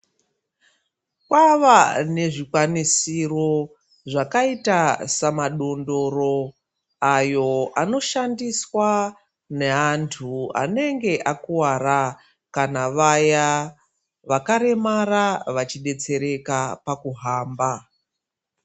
Kwava nezvikwanisiro zvakaita samadondoro, ayo anoshandiswa neantu anenge akuwara, kana navaya vakaremara, vachidetsereka pakuhamba.